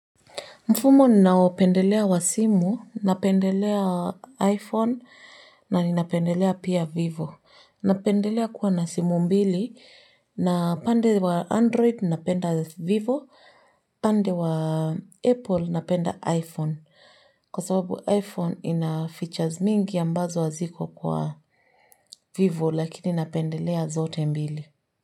Mfumo ninaopendelea wa simu, napendelea wa iPhone na ninapendelea pia vivo. Napendelea kuwa na simu mbili, na pande wa Android napenda vivo, pande wa Apple napenda iPhone. Kwa sababu iPhone ina features mingi ambazo haziko kwa vivo lakini napendelea zote mbili.